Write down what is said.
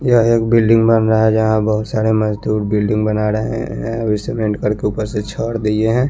यहाँ एक बिल्डिंग बन रहा है जहाँ बहोत सारे मजदुर बिल्डिंग बना रहे है वे सीमेंट करके उपर से छोड़ दीये है।